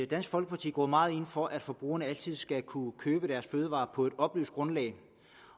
dansk folkeparti går meget ind for at forbrugerne altid skal kunne købe deres fødevarer på et oplyst grundlag